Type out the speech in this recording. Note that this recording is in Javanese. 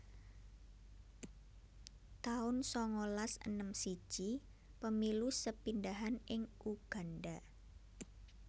taun sangalas enem siji Pemilu sepindhahan ing Uganda